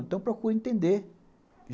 Então, procure entender.